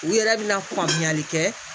U yɛrɛ bɛna faamuyali kɛ